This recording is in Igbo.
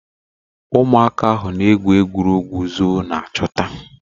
Ụmụaka ahụ na egwu egwuregwu zọọ na chọta.